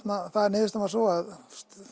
niðurstaðan var sú að